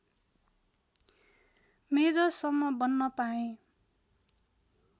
मेजरसम्म बन्न पाएँ